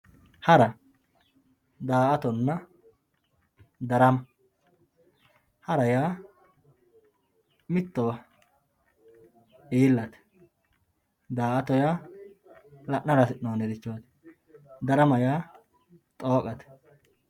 hara daa''atonna darama hara yaa mittowa iillate daa''ato yaa la'nara hasi'noonnirichooti darama yaa xooqate.